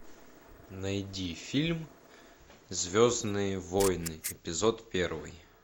найди фильм звездные войны эпизод первый